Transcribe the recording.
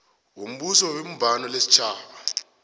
wombuso webumbano lesitjhaba